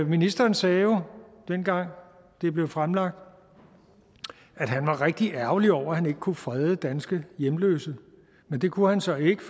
ministeren sagde jo dengang det blev fremlagt at han var rigtig ærgerlig over at han ikke kunne frede danske hjemløse men det kunne han så ikke